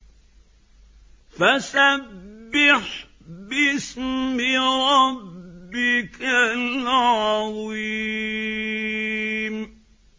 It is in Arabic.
فَسَبِّحْ بِاسْمِ رَبِّكَ الْعَظِيمِ